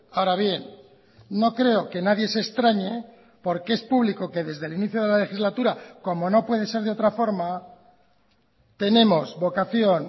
ahora bien no creo que nadie se extrañe porque es público que desde el inicio de la legislatura como no puede ser de otra forma tenemos vocación